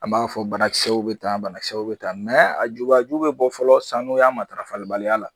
A b'a fɔ banakisɛw bɛ tan banakisɛw bɛ tan a jubaju bɛ bɔ fɔlɔ sanuya matarafalibaliya la.